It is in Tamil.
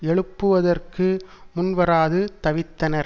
எழுப்புவதற்கு முன்வராது தவிர்த்தனர்